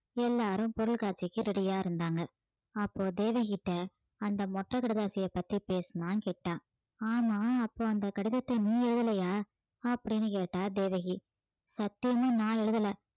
எல்லாரும் பொருட்காட்சிக்கு ready ஆ இருந்தாங்க அப்போ தேவகிகிட்ட அந்த மொட்டை கடிதாசியா பத்தி பேசினான் கிட்டா ஆமா அப்போ அந்த கடிதத்தை நீ எழுதலையா அப்படின்னு கேட்டா தேவகி சத்தியமா நான் எழுதல